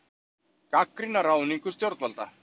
Gagnrýna ráðningu stjórnvalda